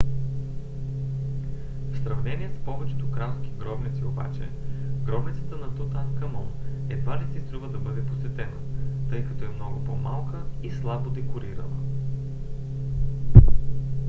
в сравнение с повечето кралски гробници обаче гробницата на тутанкамон едва ли си струва да бъде посетена тъй като е много по-малка и слабо декорирана